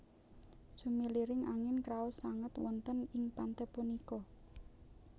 Sumiliring angin kraos sanget wonten ing pante punika